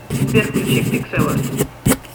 сбер включи пикселорд